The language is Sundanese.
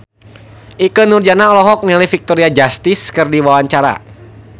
Ikke Nurjanah olohok ningali Victoria Justice keur diwawancara